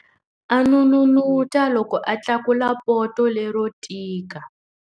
A n'unun'uta loko a tlakula poto lero tika.